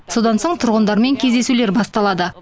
содан соң тұрғындармен кездесулер басталады